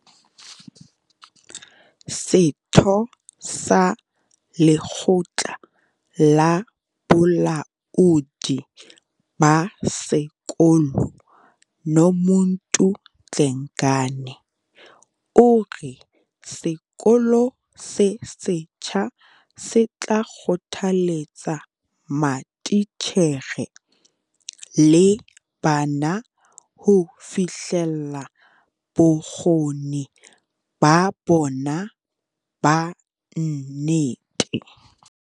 Setho sa lekgotla la bolaodi ba sekolo, Nomuntu Dlengane, o re sekolo se setjha se tla kgothaletsa matitjhere le bana ho fihlella bokgoni ba bona ba nnete.